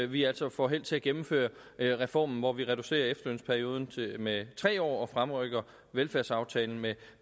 vi altså får held til at gennemføre reformen hvor vi reducerer efterlønsperioden med tre år og fremrykker velfærdsaftalen med